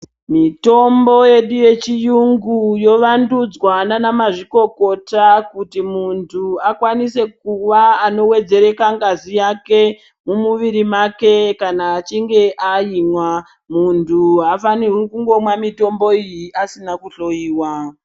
Mitombo yedu ye chiyungu yo wandudzwa nana mazvikokota kuti muntu akwanise kuva ano wedzereka ngazi yake mu muviri make kana achinge aimwa muntu aafanirwi kungomwa mitombo iyi asina ku hloyiwa.